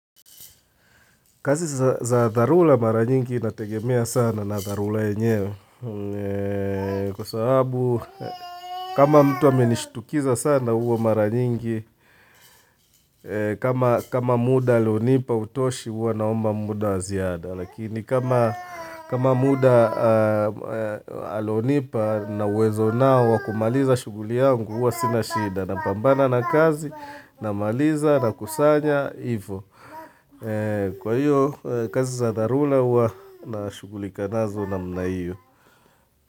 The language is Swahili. Kazi za dharura mara nyingi nategemea sana na dharura yenyewe kwa sababu kama mtu amenishtukiza sana huwa mara nyingi, kama muda alionipa hutoshi huwa naomba muda wa ziada. Lakini kama muda alionipa na uwezo ninao wa kumaliza shughuli yangu huwa sina shida napambana na kazi namaliza nakusanya, ivo. Kwa hiyo kazi za dharura huwa nashughulikana nazi namna hiyo.